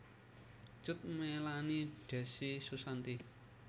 Cut Meylani Decy Susanti